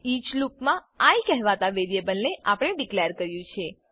each લૂપમા I કહેવાતા variable ને આપણે ડીકલેર કર્યું છે